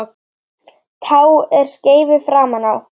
Tá er skeifu framan á.